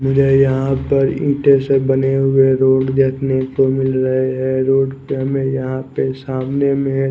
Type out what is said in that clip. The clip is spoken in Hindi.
मुझे यहाँ पर ईटसे बने हुए रोड देखने को मिल रहे है रोड पे हमे सामने में --